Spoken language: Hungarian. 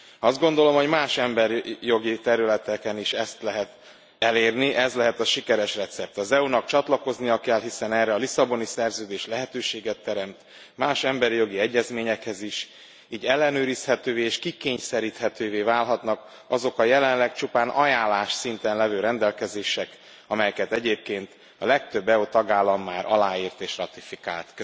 Azt gondolom, hogy más emberi jogi területeken is ezt lehet elérni, ez lehet a sikeres recept az EU nak csatlakoznia kell hiszen erre a Lisszaboni Szerződés lehetőséget teremt más emberi jogi egyezményekhez is, így ellenőrizhetővé és kikényszeríthetővé válhatnak azok a jelenleg csupán ajánlás szinten levő rendelkezések, amelyeket egyébként a legtöbb EU tagállam már aláírt és ratifikált.